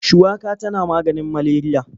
Shuwaka tana maganin maleriya.